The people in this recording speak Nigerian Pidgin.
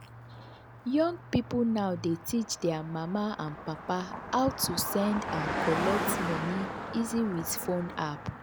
young people now dey teach their mama and papa how to send and collect money easy with phone app.